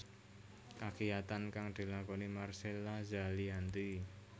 Kagiyatan kang dilakoni Marcella Zalianty